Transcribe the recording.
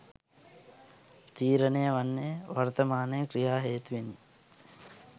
තීරණය වන්නේ වර්තමානය ක්‍රියා හේතුවෙනි